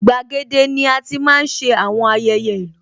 Igbàgede ni ati máa ń ṣe àwọn ayẹyẹ ìlú